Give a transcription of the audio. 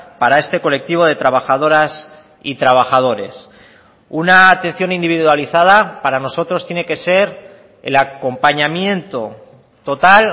para este colectivo de trabajadoras y trabajadores una atención individualizada para nosotros tiene que ser el acompañamiento total